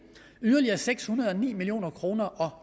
yderligere seks hundrede og ni million kroner